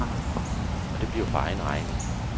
Og det bliver for egen regning.